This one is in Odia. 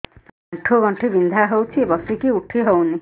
ଆଣ୍ଠୁ ଗଣ୍ଠି ବିନ୍ଧା ହଉଚି ବସିକି ଉଠି ହଉନି